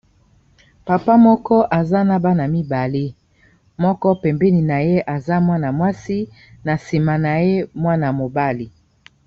papa moko aza na bana mibale moko pembeni na ye aza mwana mwasi na nsima na ye mwana mobale